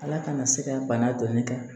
Ala kana se ka bana dɔn ne kan